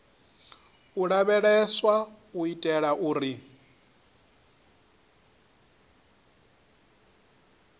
u lavheleswa u itela uri